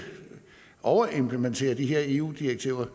overimplementerer de her eu direktiver